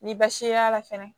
Ni baasi y'a la fɛnɛ